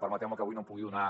permeteu me que avui no en pugui donar